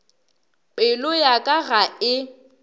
pelo ya ka ga e